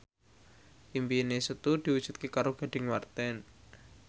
impine Setu diwujudke karo Gading Marten